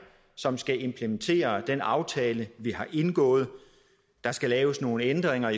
som skal implementere den aftale vi har indgået der skal laves nogle ændringer